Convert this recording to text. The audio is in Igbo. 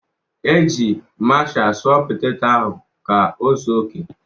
Eji maashia sụọ poteto ahụ ka ọ zuo oke.